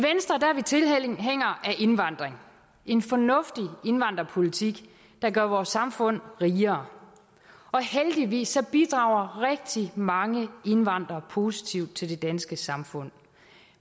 indvandring en fornuftig indvandrerpolitik der gør vores samfund rigere heldigvis bidrager rigtig mange indvandrere positivt til det danske samfund